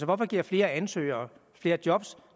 hvorfor giver flere ansøgere flere job